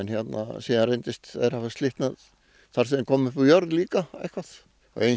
síðan reyndust þeir hafa slitnað þar sem þeir komu upp úr jörð líka og eins